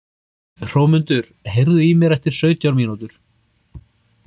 Hrómundur, heyrðu í mér eftir sautján mínútur.